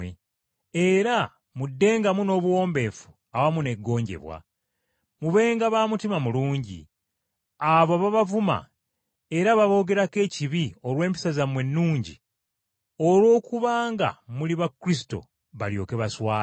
era muddengamu n’obuwombeefu, awamu n’eggonjebwa. Mubenga ba mutima mulungi, abo ababavuma era ababoogerako ekibi olw’empisa zammwe ennungi olw’okuba nga muli ba Kristo, balyoke baswale.